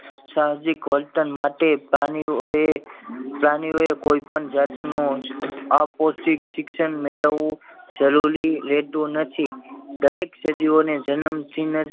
સાહસિક વર્તન માટે પ્રાણીઓ એ પ્રાણીઓ એ કોઈ પણ જાત નું અપોષિત શિક્ષણ મેળવવું જરૂરી રેતુ નથી દરેક સજીવો ને જનમ થી ને જ